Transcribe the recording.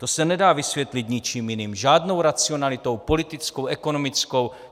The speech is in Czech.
To se nedá vysvětlit ničím jiným, žádnou racionalitou politickou, ekonomickou.